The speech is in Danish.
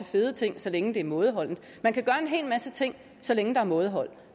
fede ting så længe det er mådeholdent man kan gøre en hel masse ting så længe der er mådehold